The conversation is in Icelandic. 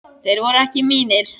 Þeir voru ekki mínir.